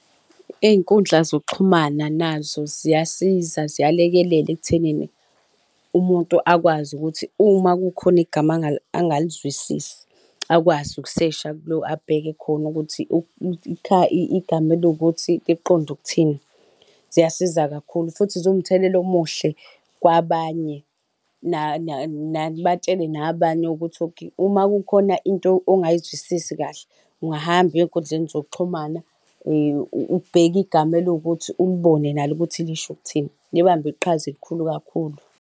Izinkundla zokuxhumana nazo ziyasiza ziyalekelela ekuthenini umuntu akwazi ukuthi uma kukhona igama angalizwisisi akwazi ukusesha abheka khona ukuthi igama eliwukuthi liqonde ukuthini. Ziyasiza kakhulu futhi ziwumthelela omuhle kwabanye batshele nabanye ukuthi okay uma kukhona into ongayizwisisi kahle ungahamba uye ezinkundleni zokuxhumana ubheke igama eliwukuthi ulibone nalo ukuthi lisho ukuthini, libambe iqhaza elikhulu kakhulu.